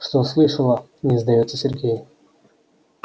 что слышала не сдаётся сергей